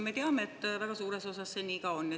Me teame, et väga suures osas see nii ka on.